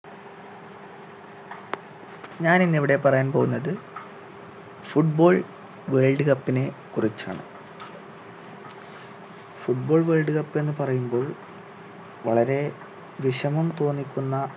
ഞാൻ ഇന്നിവിടെ പറയാൻ പോന്നത് foot ball world cup നെ കുറിച്ചാണ് foot ball world cup എന്ന് പറയുമ്പോൾ വളരെ വിഷമം തോന്നിക്കുന്ന